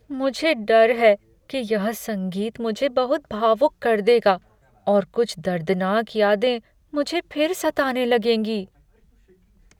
मुझे डर है कि यह संगीत मुझे बहुत भावुक कर देगा और कुछ दर्दनाक यादें मुझे फिर सताने लगेंगी।